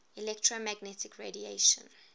electromagnetic radiation